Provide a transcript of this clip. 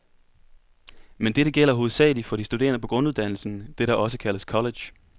Men dette gælder hovedsagelig for de studerende på grunduddannelsen, det der også kaldes college.